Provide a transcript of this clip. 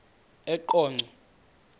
eqonco